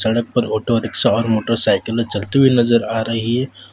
सड़क पर auto rickshaw और मोटरसाइकिले चलती हुई नजर आ रही है।